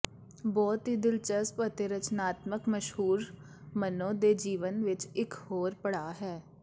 ਬਹੁਤ ਹੀ ਦਿਲਚਸਪ ਅਤੇ ਰਚਨਾਤਮਕ ਮਸ਼ਹੂਰ ਮਨੋ ਦੇ ਜੀਵਨ ਵਿੱਚ ਇੱਕ ਹੋਰ ਪੜਾਅ ਹੈ